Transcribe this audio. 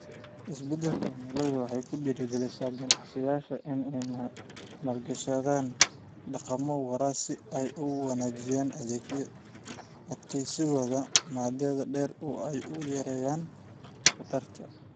Isbeddelka cimiladu waxay ku dhiirigelisaa ganacsiyada inay maalgashadaan dhaqammo waara si ay u wanaajiyaan adkeysigooda muddada dheer oo ay u yareeyaan khatarta.